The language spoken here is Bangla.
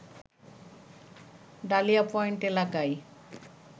ডালিয়া পয়েন্ট এলাকায়